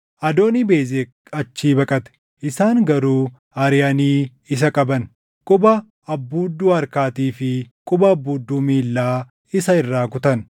Adoonii-Bezeq achii baqate; isaan garuu ariʼanii isa qaban; quba abbuudduu harkaatii fi quba abbuudduu miilla isaa irraa kutan.